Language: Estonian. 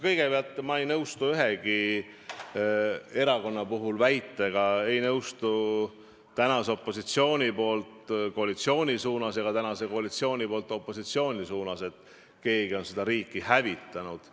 Kõigepealt, ma ei nõustu ühegi erakonna puhul väitega, ei nõustu praeguse opositsiooni poolt koalitsiooni suunas ega praeguse koalitsiooni poolt opositsiooni suunas tehtud kriitikaga, et keegi on seda riiki hävitanud.